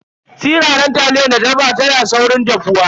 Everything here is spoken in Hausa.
Siraran taliyar da ta dafa tana saurin dahuwa.